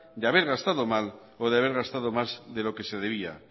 de haber gastado mal o de haber gastado más de lo que se debía